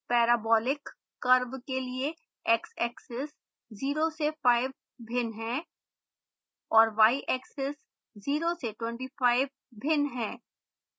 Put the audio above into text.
parabolic curve के लिए xaxis 0 से 5 भिन्न है और yaxis 0 से 25 भिन्न है